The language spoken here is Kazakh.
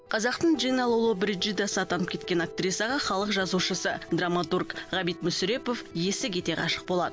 қазақтың джина лолобриджидасы атанып кеткен актрисаға халық жазушысы драматург ғабит мүсірепов есі кете ғашық болады